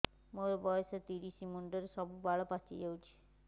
ମୋର ବୟସ ତିରିଶ ମୁଣ୍ଡରେ ସବୁ ବାଳ ପାଚିଯାଇଛି